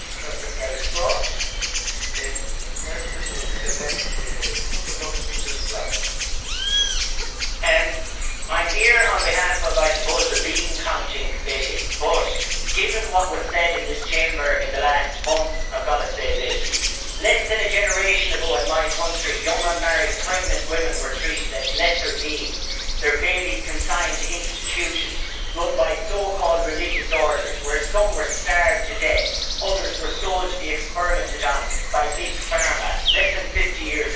Mr President, I am here on behalf of, I suppose, the bean counting' committee but, given what was said in this Chamber in the last month, I have got to say this less than a generation ago in my country young, unmarried, pregnant women were treated as lesser beings, their babies consigned to institutions run by so called religious orders where some were starved to death, others were sold to be experimented on by big pharma less than 50 years ago.